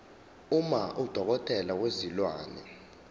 uma udokotela wezilwane